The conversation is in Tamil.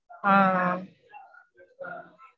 ஆஹ் ஆஹ்